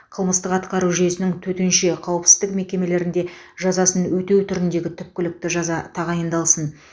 қылмыстық атқару жүйесінің төтенше қауіпсіздік мекемелерінде жазасын өтеу түріндегі түпкілікті жаза тағайындалсын